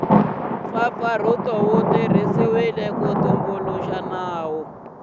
mpfapfarhuto wu tirhisiwile ku tumbuluxa